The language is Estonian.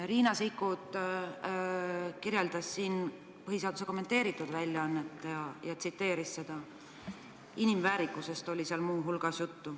Riina Sikkut tsiteeris siin põhiseaduse kommenteeritud väljaannet, seal oli muu hulgas juttu inimväärikusest.